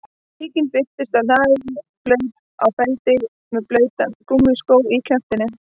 Tíkin birtist á hlaði blaut á feldinn með blautan gúmmískó í kjaftinum